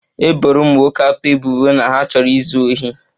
E boro ụmụ nwoke atọ ebubo na ha chọrọ izu ohi